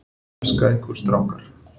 Elska ykkur strákar.